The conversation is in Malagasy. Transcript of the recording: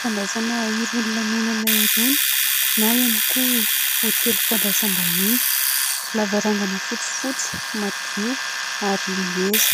Fandraisana irony lanonana irony na ihany koa hotely fandraisam-bahiny. Lavarangana fotsifotsy, madio, ary ngeza.